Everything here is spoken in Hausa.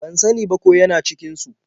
Ban sa ni ba ko ya na cikin su.